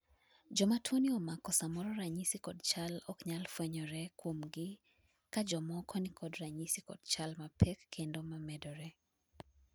joma tuo ni omako samoro ranyisi kod chal ok nyal fwenyore kuomgi ka jomoko nikod ranyisi kod chal ma pek kendo ma medore